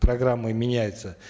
программы меняются